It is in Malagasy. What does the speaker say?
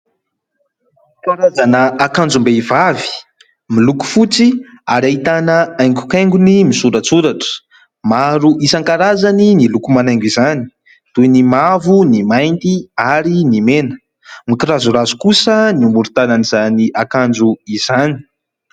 Karazana akanjom-behivavy miloko fotsy ary ahitana haingokaingony misoratsoratra; maro isan-karazany ny loko manaingo izany toy ny mavo, ny mainty ary ny mena, mikirazorazo kosa ny morontanan'izany akanjo izany.